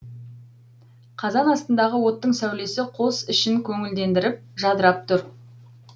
қазан астындағы оттың сәулесі қос ішін көңілдендіріп жадырап тұр